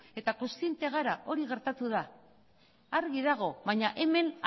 eta kontziente gara hori gertatu da argi dago baina hemen